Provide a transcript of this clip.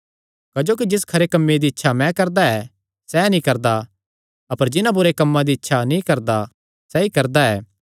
क्जोकि जिस खरे कम्मे दी मैं इच्छा करदा ऐ सैह़ नीं करदा अपर जिन्हां बुरे कम्मां दी इच्छा नीं करदा सैई करदा ऐ